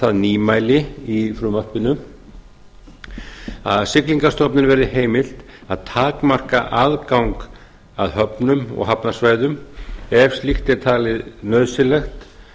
það nýmæli í frumvarpinu að siglingastofnun verði heimilt að takmarka aðgang að höfnum og hafnarsvæðum ef slíkt er talið nauðsynlegt